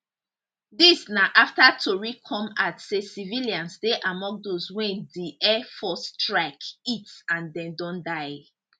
dis na afta tori come out say civilians dey among dose wey di air force strike hit and dem don die